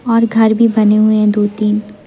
और घर भी बने हुए हैं दो तीन।